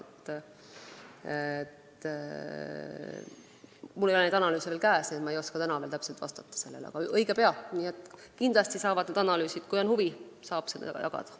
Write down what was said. Mul ei ole sellekohaseid analüüse veel käes, nii et ma ei oska praegu täpselt vastata, aga õige pea need tulevad ja kui on huvi, saab neid ka jagada.